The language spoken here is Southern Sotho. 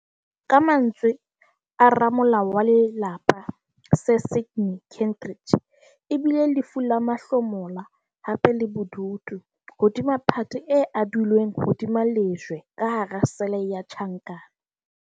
Ka mantswe a ramolao wa lelapa Sir Sydney Kentridge, e bile "lefu la mahlomola, hape le bodutu - hodima phate e adilweng hodima lejwe ka hara sele ya tjhankana".